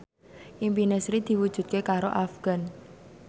impine Sri diwujudke karo Afgan